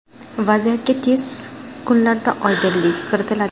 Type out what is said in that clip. Vaziyatga tez kunlarda oydinlik kiritiladi.